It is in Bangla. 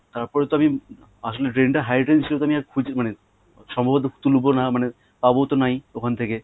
তার পরে তো আমি আসলে drain টা high drain ছিল তাই আমি আর খুঁজে মানে সম্ভবত তুলবো না মানে পাবো তো নাই ওখান থেকে